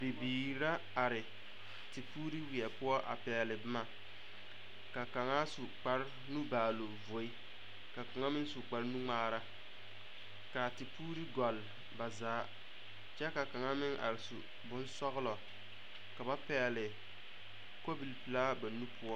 Bibiiri la are tepuuri weɛ poɔ a pɛgle boma ka kaŋa su kparenubaaloŋvoe ka kaŋa meŋ su kparenuŋmaara kaa tepuuri gɔlle ba zaa kyɛ ka kaŋa meŋ are su bonsɔglɔ ka ba pɛgle kobilpelaa ba nu poɔ.